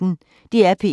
DR P1